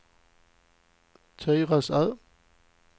Tyresö